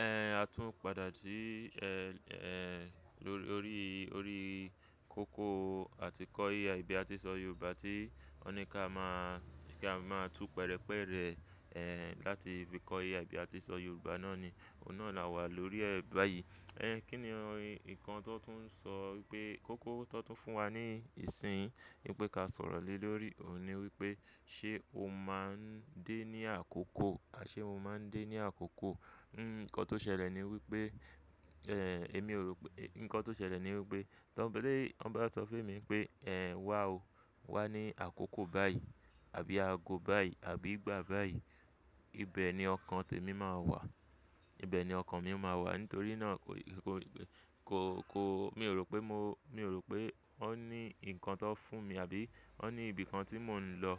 Ẹ̀, a tún padà sí, ẹ́, ẹ́, lórí, órí, órí kókó àti kọ́ AI bi a ti sọ Yorùbá tí wọ́n ní ká máa, kí a máa tún pẹ̀rẹ́pẹ̀rẹ, ẹ́, láti fi kọ́ AI bi a ti sọ Yorùbá náà ni. Òun náà là wà lórí ẹ̀ báyìí. Ẹ̀, kí ni nkàn tó tún sọ wípé kókó tó tún fún wa ní ìsin, nípé ká sọ̀rọ̀ lé lórí òun ni wípé ṣé o máa ń dé ní àkókò àṣé mo máa ń dé ní àkókò. Hmm, ǹkan tó ṣẹlẹ̀ ni wípé, ẹ́, èmi ò rò pé-- ǹkan tó ṣẹlẹ̀ ni wípé, tí Ọ̀bọ̀dé, ọ̀ba sọ fún mi pé, "Ẹ̀, wá o, wá ní àkókò báyìí àbí ago báyìí àbí ìgbà báyìí." Ibe ni ọkàn tèmi máa wà. Ibe ni ọkàn mi máa wà. Nítorí náà kò, kò, kò, kò, mi ò rò pé mo, mi ò rò pé ó ní ǹkan tó ń fún mi àbí ó ní ibi kan tí mò ń lọ,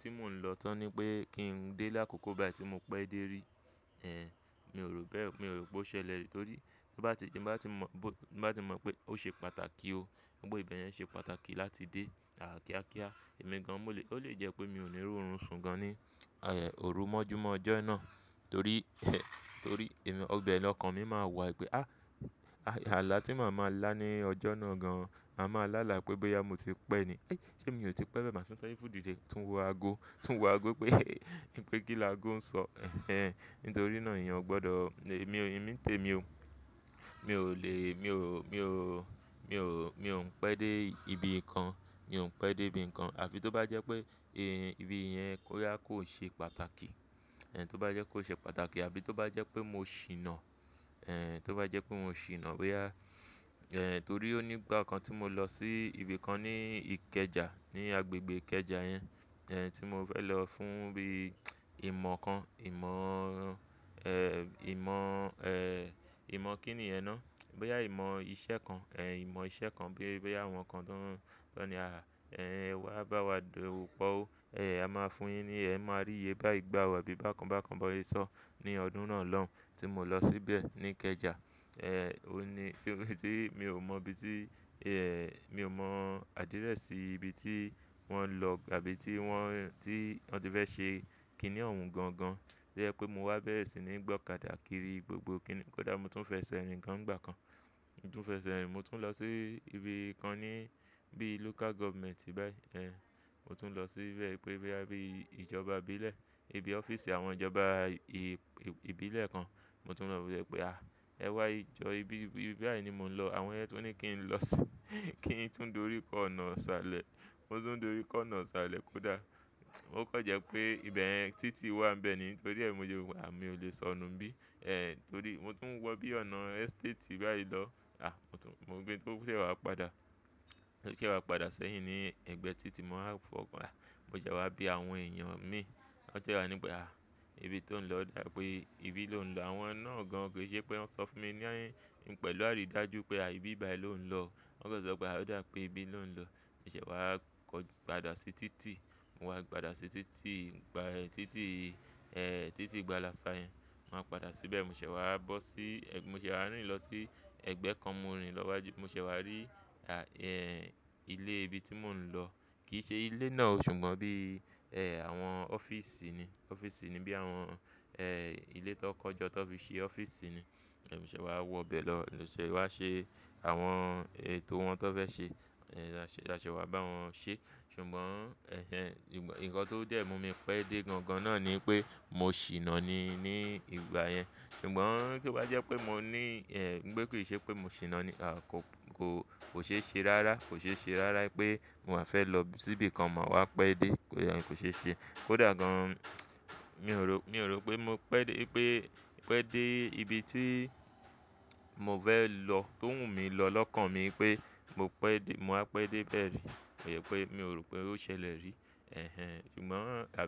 tí mò ń lọ tán ni pé kí n dé lákòókò báyìí tí mo pẹ́ dé rí. Ẹ̀, mi ò rò bẹ́ẹ̀. Mi ò rò pé ó ṣẹlẹ̀ rí. Torí bá ti, tí bá ti mọ, bá ti mọ pé ó ṣe pàtàkì o. Pé ibẹ̀ yẹn ṣe pàtàkì láti dé. À, kíákíá. Èmi gan mo le, ó lè jẹ́ pé mi ò ní rí òórùn sun gan ní, ẹ́, òru mọ́júmọ́ ọjọ́ náà. Torí ẹ́, torí èmi, ibe lọkàn mi máa wà wípé, "Á, àlá tí màá máa lá ní ọjọ́ náà gan, màá máa lá là pé bóyá mo ti pẹ́ ni. Ẹ́, ṣé mi ò ti pẹ́ bẹ́ẹ̀ màá sì tọ́jú fún òdìde." Tún wọ ago, tún wọ ago pé wípé kílàgo ń sọ. Ẹ̀hẹn. Nítorí náà ìyẹn ò gbọdọ̀. Èmi, èmi té mi ò, mi ò le, mi ò, mi ò, mi ò, mi ò ń pẹ́ dé ibi kan. Mi ò ń pẹ́ dé ibi kan. Àfí tó bá jẹ́ pé èé, ibi yẹn bóyá kò ṣe pàtàkì. Ẹ̀, tó bá jẹ́ kó ṣe pàtàkì àbí tó bá jẹ́ pé mo ṣìná. Ẹ̀, tó bá jẹ́ pé mo ṣìná bóyá, ẹ̀, torí ó ní ìgbà kan tí mo lọ sí ibi kan ní Ìkẹjà, ní agbègbè Ìkẹjà yẹn. Ẹ̀, tí mo fẹ́ lọ fún bí ìmọ̀ kan, ìmọ̀, ẹ́, ìmọ̀, ẹ́, ìmọ̀ kí ni yẹn náà? Bóyá ìmọ̀ iṣẹ́ kan. Ẹ̀, ìmọ̀ iṣẹ́ kan bíi, bóyá àwọn kan tọ́ ń, tọ́ ni, "À, ẹ́, wà á bá wa dowo po ó. Ẹ̀, a máa fún yín ní ẹ máa rí iyè báyi gbà o abíi bákan bákan bón se sọ̀ ọ́." Ní ọdún náà lọ́hun tí mo lọ síbẹ̀ ní Ìkẹjà. Ẹ̀, ó ni, ti, tí mi ò mọ ibi tí, ẹ́, mi ò mọ àdírẹ́sì ibi tí wọ́n lọ àbí tí wọ́n, tí wọ́n ti fẹ́ ṣe kí ni òun gan gan. To je pé mo wá bẹ́rẹ̀ sì ni gbọ́kàdà kiri gbogbo kí ni-- kódà mo tún fẹsẹ̀ rìn gan nìgbà kan. Mo tún fẹsẹ̀ rìn, mo tún lọ sí ibi kan ní bí local government báyìí. Ẹ̀, mo tún lọ síbẹ̀ wípé bóyá bí ìjọba ìbílẹ̀, ibi ọ́fíìsì àwọn ìjọba i-i-ìbílẹ̀ kan. Mo tún lọ wobe wípé, "À, ẹ wá ejọ ibi, ibi báyìí ni mò ń lọ." Àwọn yẹn tún ní kí n lọ sí kí n tún dórí kọ́ ọ̀nà isálẹ̀. Mo tún dórí kọ́ ọ̀nà sálẹ̀ kódà. O kan jẹ́ pé ibẹ̀ yẹn títì wà ń bẹ ni. Torí ẹ́ mo se mo, mio lè sọ nu nbí. Ẹ̀, torí mo tún ń wọ bí ọ̀nà estate báyìí lọ. À, mo tún, mo de tun sẹ́ wa padà. Tun sẹ́ wa padà sẹ́yìn ní ẹ̀gbẹ́ títì mo wan fọ́ kan. Mo ṣẹ̀ wá bí àwọn èèyàn mi. Wọ́n sẹ́ wa ní pé, "À, ibi tí ò ń lọ dà pé ibi ló ń lọ." Àwọn náà gan kì í ṣe pé wọ́n sọ fún mi ní, pẹ̀lú àrídájú pé à ibi báyìí ló ń lọ. Wọ́n kan sọ pé, "À, ó dà pé ibi ló ń lọ." mo ṣẹ̀ wá kọ̀, padà sí títì. Mo wá padà sí títì, gbá títì, ẹ́, títì ìgba lasa yẹn. Mo á padà síbẹ̀, mo ṣẹ̀ wá bọ́ sí, ẹ́, mo ṣẹ̀ wá rìnlọ sí ẹ̀gbẹ́ kan mo rìnlọ wájú. Mo ṣẹ̀ wá rí, à, ẹ́, ilé ibi tí mò ń lọ. Kì í ṣe ilé náà o, ṣùgbọ́n bí, ẹ́, àwọn ọ́fíìsì ni. Ọ́fíìsì ni bí àwọn, ẹ́, ilé tó kọ́jọ́ tó fi ṣe ọ́fíìsì ni. Mo ṣẹ̀ wá wọ bẹ̀ lọ. Mo ṣẹ̀ wá ṣe àwọn ètò wọn tó fẹ́ ṣe. Ẹ̀, aṣẹ̀, a ṣe wá bá wọn ṣe. Ṣùgbọ́n ẹ̀hen, ǹkan tó dẹ́ mo mi pẹ́ dé gan gan náà ni pé mo ṣìná ni ní ìgbà yẹn. Ṣùgbọ́n tí ó bá jẹ́ pé mo ní, ẹ́, pé kí ì ṣe pé mo ṣìná ni. À, kò, kò, kò ṣe é ṣe rárá. Kò ṣe é ṣe rárá pé mo à fẹ́ lọ síbi kan ma wá pẹ́ dé. Kò yẹ, kò ṣe é ṣe. Kódà gan, mi ò rò, mi ò rò pé mo pẹ́ dé pé, pẹ́ dé ibi tí mò fẹ́ lọ tó wù mí lọ lọ́kàn mi pé mo pẹ́ dé, mo á pẹ́ dé bẹ́ẹ̀ rí. Ó ro pé mi ò rò pé ó ṣẹlẹ̀ rí. Ẹ̀hẹn. Ṣùgbọ́n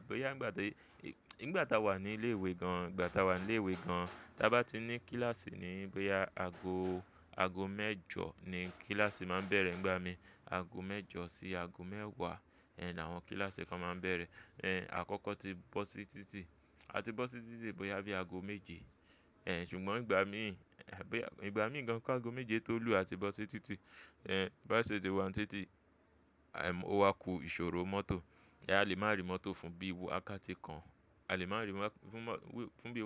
boya nígbà tí, nígbà táa wà ní ilé ìwé gan, ìgbà táa wà ní ilé ìwé gan, tí a bá ti ní kíláàsì ni bóyá ago, ago mẹ́jọ ni kíláàsì máa ń bẹ̀rẹ̀ nígbà mí. Ago mẹ́jọ sí ago mẹ́wàá, ẹ́, ni àwọn kíláàsì kan máa ń bẹ̀rẹ̀. Ẹ̀, àkọ́kọ́ ti bọ́ sí títì. A ti bọ́ sí títì títí bóyá bí ago méje. Ẹ̀n, ṣùgbọ́n ìgbà mí, ìgbà mí gan kí ago méje tó lù a ti bọ́ sí títì. Ẹ̀n, bá ṣe tí wá ń títì, ẹm, ó wá ku ìṣòro mọ́tò. Ẹ́, a lè máa rí mọ́tò fún bí wakati kan. A lè máa rí mọ́tò fún mo fun bi.